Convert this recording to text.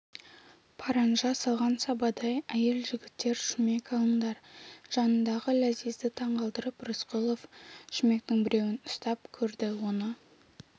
паранжа салған сабадай әйел жігіттер шүмек алыңдар жанындағы ләзизді таңғалдырып рысқұлов шүмектің біреуін ұстап көрді оны